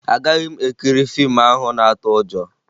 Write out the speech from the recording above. Agaghị m ekiri fiimu ahụ na-atụ ụjọ